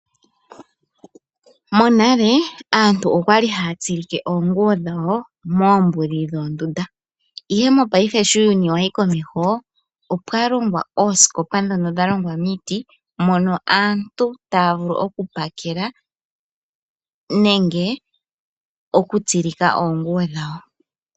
Monale aantu okwali haya tsilike oonguwo dhawo moombuli dhoondunda. Ihe mo paife uuyuni sho wayi komeho opwa longwa oosikopa dhono dha longwa miiti mono aantu taya vulu oku pakela nenge oku tsilika oonguwo dhawo.